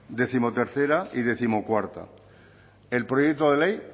décimotercera y décimocuarta el proyecto de ley